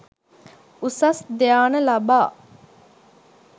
උසස් ධ්‍යාන ලබා